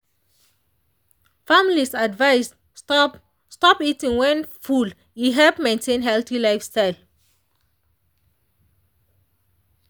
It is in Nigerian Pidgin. families advised stop stop eating when full e help maintain healthy lifestyle.